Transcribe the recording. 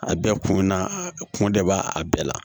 A bɛɛ kun na kun de b'a bɛɛ la